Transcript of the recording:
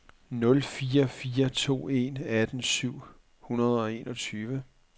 nul fire to en atten syv hundrede og enogtyve